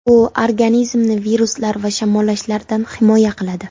U organizmni viruslar va shamollashlardan himoya qiladi.